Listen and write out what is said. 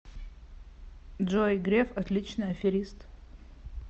джой греф отличный аферист